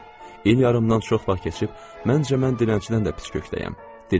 İl yarımdan çox vaxt keçib, məncə mən dilənçidən də pis kökdəyəm.